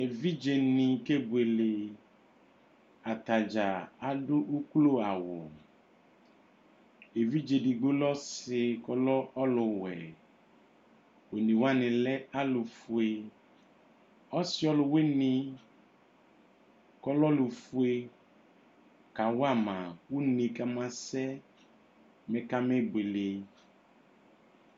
Evidzedini kebuele atadza adu uklo awu evidze edigbo lɛ ɔsi ɔluwɛ onewani lɛ alu fue ɔsi ɔluwini kɔlɛ ofue kawama une kamasɛ bi kamebuele